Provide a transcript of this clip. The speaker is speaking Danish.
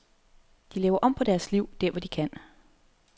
De laver om på deres liv, der hvor de kan.